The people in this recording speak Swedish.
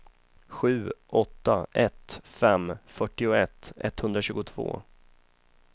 sju åtta ett fem fyrtioett etthundratjugotvå